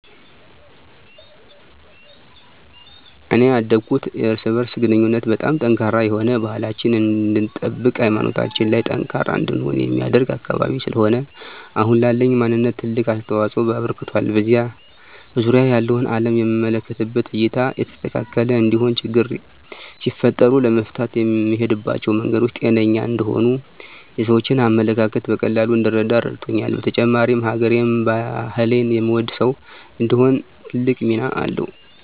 እኔ ያደኩት የእርስ በእርስ ግንኙነቱ በጣም ጠንካራ የሆነ፣ ባህላችንን እንድንጠብቅ ሀይማኖታችን ላይ ጠንካራ እንድንሆን የሚያደርግ አካባቢ ስለሆነ አሁን ላለኝ ማንነት ትልቅ አስተዋፅኦ አበርክቷል። በዙሪያየ ያለውን አለም የምመለከትበት እይታ የተስተካከለ እንዲሆን፣ ችግሮች ሲፈጠሩ ለመፍታት የምሄድባቸው መንገዶች ጤነኛ እንዲሆኑ፣ የሰዎችን አመለካከት በቀላሉ እንድረዳ ረድቶኛል። በተጨማሪም ሀገሬን፣ ባህሌን የምወድ ሰው እንድሆን ትልቅ ሚና አለዉ።